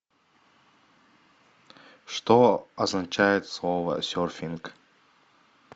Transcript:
что означает слово серфинг